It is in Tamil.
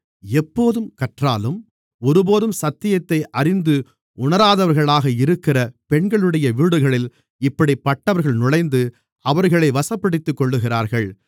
எப்போதும் கற்றாலும் ஒருபோதும் சத்தியத்தை அறிந்து உணராதவர்களாக இருக்கிற பெண்களுடைய வீடுகளில் இப்படிப்பட்டவர்கள் நுழைந்து அவர்களை வசப்படுத்திக்கொள்ளுகிறார்கள்